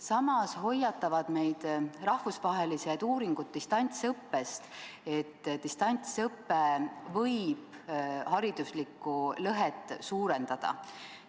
Samas hoiatavad meid rahvusvahelised distantsõppe uuringud, et distantsõpe võib hariduslikku lõhet suurendada.